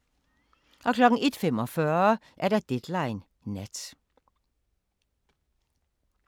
01:45: Deadline Nat